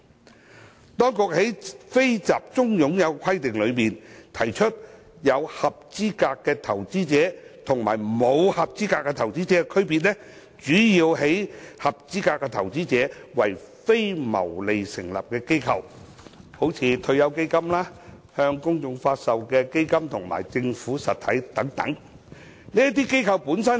根據當局對"非集中擁有"的規定，有"合資格投資者"與沒有"合資格投資者"的基金公司的區別，主要在於"合資格投資者"是指為非牟利目的成立的機構、退休基金及向公眾發售的基金和政府實體等。